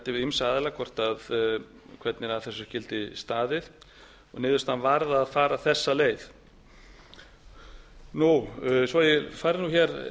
ýmsa aðila hvernig að þessu skyldi staðið niðurstaðan varð að fara þessa leið svo ég fari nú hér